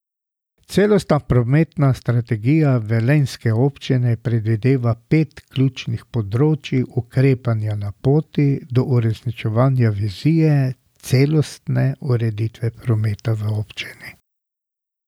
Celostna prometna strategija velenjske občine predvideva pet ključnih področij ukrepanja na poti do uresničevanja vizije celostne ureditve prometa v občini.